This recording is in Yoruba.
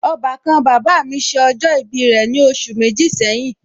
Ọbàkan bàbá mi ṣe ọjọ ibi rẹ̀ ní oṣù méjì sẹ́yìn